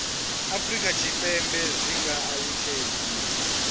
afurika tshipembe zwi nga alutshedziwa